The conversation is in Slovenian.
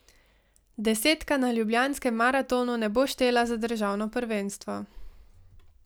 Desetka na Ljubljanskem maratonu ne bo štela za državno prvenstvo.